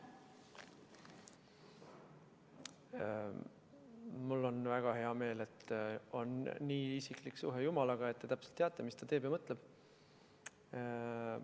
Mul on väga hea meel, et teil on nii isiklik suhe jumalaga, et te täpselt teate, mis ta teeb ja mõtleb.